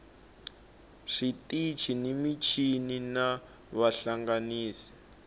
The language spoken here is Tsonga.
switichi ni michini na vahlanganisi